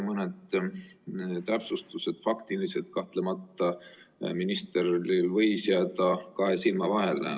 Mõni faktiline täpsustus võis ministril kahtlemata jääda kahe silma vahele.